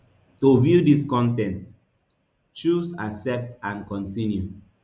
to view dis con ten t choose accept and continue